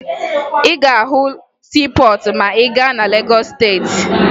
Ị ga-ahụ siipọọtụ ma ị gaa na Legọọsụ Steeti